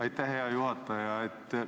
Aitäh, hea juhataja!